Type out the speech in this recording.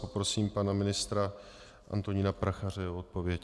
Poprosím pana ministra Antonína Prachaře o odpověď.